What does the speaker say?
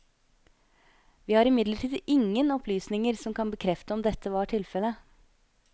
Vi har imidlertid ingen opplysninger som kan bekrefte om dette var tilfelle.